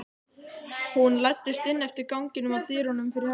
Hún læddist inn eftir ganginum, að dyrunum fyrir herbergi